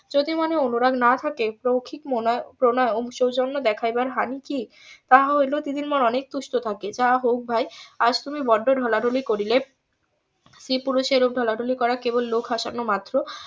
যদি মনে অনুরাগ না থাকে . প্রণয়েও সৌজন্য দেখাইবার হানি কি তাহা হইলেও দিদির মন অনেক সুস্থ থাকে যা হোক ভাই আজ তুমি বড্ডো ঢলাঢলি করিলে স্ত্রী পুরুষে এরূপ ঢলাঢলি করা কেবল লোক হাসানো মাত্র